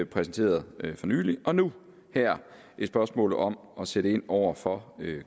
præsenteret for nylig og nu her et spørgsmål om at sætte ind over for